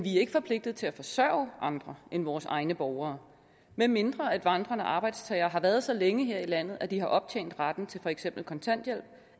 ikke forpligtet til at forsørge andre end vores egne borgere medmindre vandrende arbejdstagere har været så længe her i landet at de har optjent retten til for eksempel kontanthjælp